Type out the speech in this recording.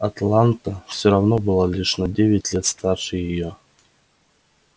атланта всё равно была лишь на девять лет старше её